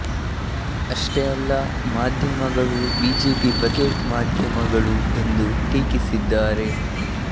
ಅಷ್ಟೇ ಅಲ್ಲ ಮಾಧ್ಯಮಗಳು ಬಿಜೆಪಿ ಬಕೆಟ್ ಮಾಧ್ಯಮಗಳು ಎಂದು ಟೀಕಿಸಿದ್ದಾರೆ